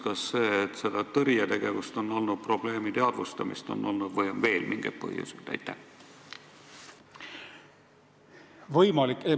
Kas see, et seda tõrjetegevust on olnud, probleemi teadvustamist on olnud, või on veel mingeid põhjuseid?